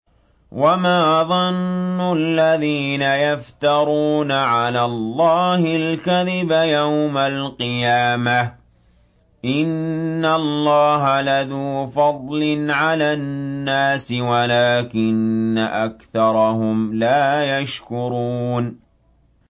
وَمَا ظَنُّ الَّذِينَ يَفْتَرُونَ عَلَى اللَّهِ الْكَذِبَ يَوْمَ الْقِيَامَةِ ۗ إِنَّ اللَّهَ لَذُو فَضْلٍ عَلَى النَّاسِ وَلَٰكِنَّ أَكْثَرَهُمْ لَا يَشْكُرُونَ